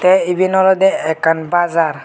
ai eben olodey ekkan bazar.